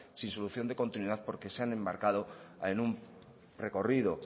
sin solución de continuidad porque se han embarcado en un recorrido